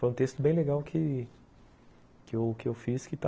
Foi um texto bem legal que que eu que eu fiz que está no site.